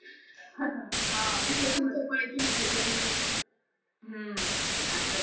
हा मी तेच म्हणत हम्म आसचं.